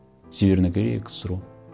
северная корея ксро